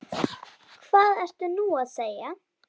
Hvað ertu nú að segja?